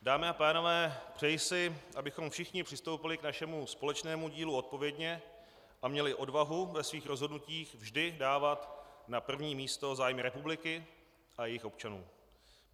Dámy a pánové, přeji si, abychom všichni přistoupili k našemu společnému dílu odpovědně a měli odvahu ve svých rozhodnutích vždy dávat na první místo zájmy republiky a jejích občanů.